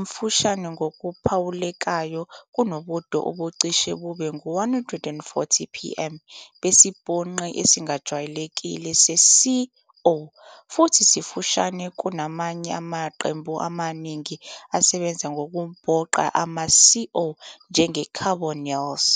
mfushane ngokuphawulekayo kunobude obucishe bube ngu-140-pm besibhonqi esijwayelekile se-C-O, futhi sifushane kunamanye amaqembu amaningi asebenza ngokubhonqa ama-C-O njenge- carbonyls.